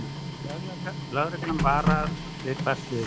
Lögreglan varar við hvassviðri